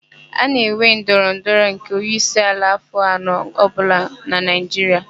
A na-enwe ndọrọ ndọrọ nke onyeisiala afọ anọ ọbụla n'Naịjiria.